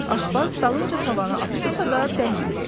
Aşbaz dalınca tavanı atdısa da dəymədi.